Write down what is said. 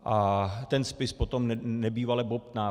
A ten spis potom nebývale bobtná.